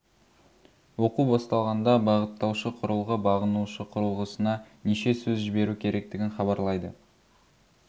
оқу басталғанда бағыттаушы құрылғы бағынушы құрылғысына неше сөз жіберу керектігін хабарлайды